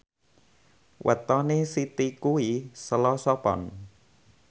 wetone Siti kuwi Selasa Pon